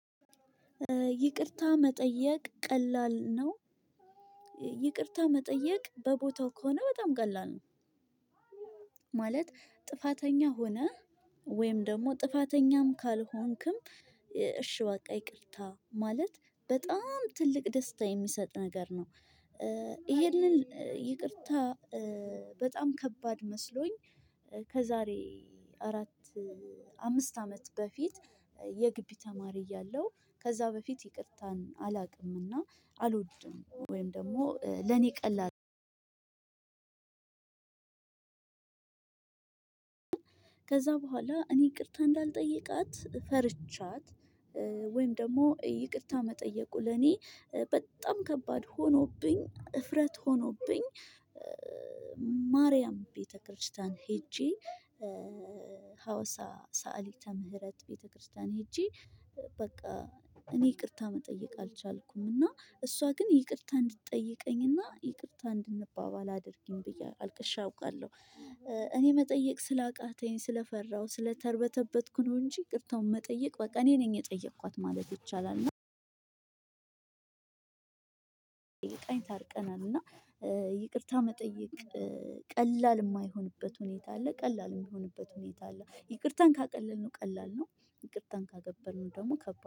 ይቅርታ መጠየቅ ቀላል ነው? ይቅርታ መጠየቅ በቦታው ከሆነ በጣም ቀላል ነው። ማለት ጥፋተኛ ሆነህ ወይም ደግሞ ጥፋተኛም ካልሆንክም "እሺ በቃ ይቅርታ" ማለት በጣም ትልቅ ደስታ የሚሰጥ ነገር ነው። ይሄንን ይቅርታ በጣም ከባድ መስሎኝ ከዛሬ አራት አምስት አመት በፊት፣ የግቢ ተማሪ እያለሁ ከዛ በፊት ይቅርታን አላውቅም እና አልወድም ወይም ደግሞ ለኔ ቀላል ከዛ በኋላ እኔ ይቅርታ እንዳልጠይቃት ፈርቻት ወይም ደግሞ ይቅርታ መጠየቁ ለኔ በጣም ከባድ! ሆኖብኝ እፍረት ሆኖብኝ፣ ማርያም ቤተክርስቲያን ሄጄ ሃዋሳ ሳዓሊተ ምህረት ቤተክርስቲያን ሄጄ በቃ፣ እኔ ይቅርታ መጠየቅ አልቻልኩም እና እሷ ግን ይቅርታ እንድትጠይቀኝ እና ይቅርታ እንድንባባል አድርጊኝ ብዬ አልቅሼ አውቃለሁ። እኔ መጠየቅ ስላቃተኝ ስለፈራሁ ስለተርበተበትኩ ነው እንጂ፣ ይቅርታውን መጠየቅ በቃ እኔ ነኝ የጠየኳት ማለት ይቻላል ታርቀናል እና ይቅርታ መጠየቅ ቀላል የማይሆንበት ሁኔታ አለ፤ ቀላል የሚሆንበት ሁኔታ አለ። ይቅርታን ካቀለልንው ቀላል ነው፤ ይቅርታን ካከበድንው ደግሞ ከባድ ነው።